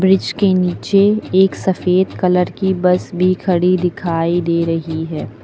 Bridge के नीचे एक सफेद कलर की बस भी खड़ी दिखाई दे रही है।